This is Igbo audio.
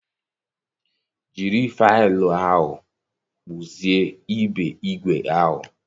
Jiri faịlụ ahụ kpụzie ibe igwe ahụ.